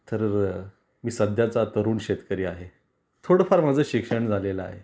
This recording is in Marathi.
तर मी सध्याचा तरुण शेतकरी आहे. थोड फार माझ शिक्षण झालेला आहे.